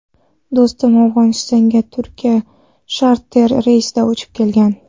Do‘stum Afg‘onistonga Turkiyadan charter reysida uchib kelgan.